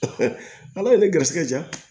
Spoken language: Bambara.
ala ye ne garisɛgɛ diya